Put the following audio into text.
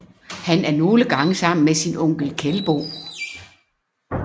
Han er nogle gange sammen med sin onkel Kelbo